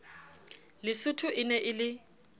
lesotho e ne e le